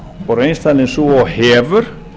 og reynslan er sú og hefur